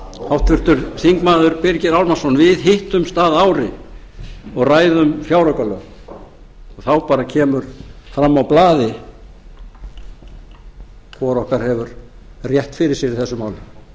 háttvirtur þingmaður birgir ármannsson við hittumst að ári og ræðum fjáraukalög og þá bara kemur fram á blaði hvor okkar hefur rétt fyrir sér í þessu